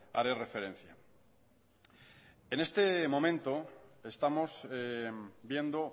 haré referencia en este momento estamos viendo